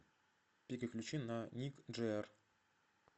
переключи на ник джи эр